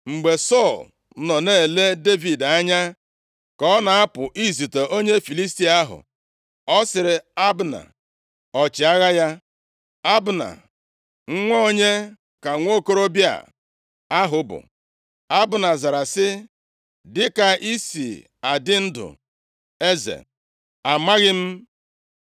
Mgbe Sọl nọ na-ele Devid anya ka ọ na-apụ izute onye Filistia ahụ, ọ sịrị Abna, ọchịagha ya, “Abna, nwa onye ka nwokorobịa ahụ bụ?” Abna zara sị, “Dịka i si adị ndụ, eze, amaghị m.”